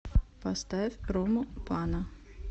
поставь рому пана